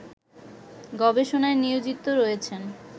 গবেষণায় নিয়োজিত রয়েছেন